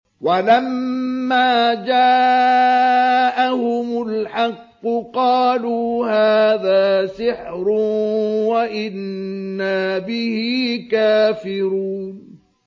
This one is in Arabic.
وَلَمَّا جَاءَهُمُ الْحَقُّ قَالُوا هَٰذَا سِحْرٌ وَإِنَّا بِهِ كَافِرُونَ